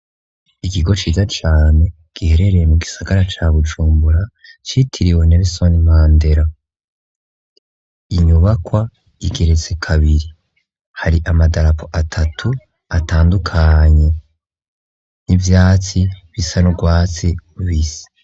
Ikigo ciza Cane giherereye mu Gisagara ca Bujumbura citiriwe Nerisoni mandera. Inyubakwa igeretse kabiri hari amadarapo atatu atandukanye n'ivyatsi bisa nurwatsi rubisi.